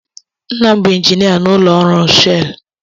Nna m bụ injinia n'ụlọ ọrụ Shelụ.